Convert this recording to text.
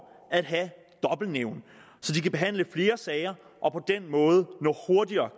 at have dobbeltnævn så de kan behandle flere sager og på den måde hurtigere